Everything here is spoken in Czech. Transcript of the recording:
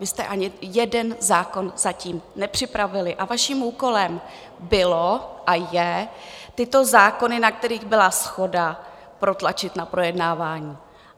Vy jste ani jeden zákon zatím nepřipravili a vaším úkolem bylo a je tyto zákony, na kterých byla shoda, protlačit na projednávání.